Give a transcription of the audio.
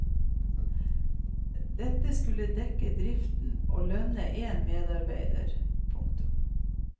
Dette skulle dekke driften og lønne én medarbeider. punktum